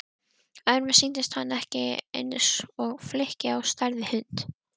Öðrum sýndist hann eins og flykki á stærð við hund.